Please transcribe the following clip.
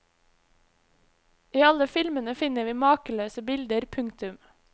I alle filmene finner vi makeløse bilder. punktum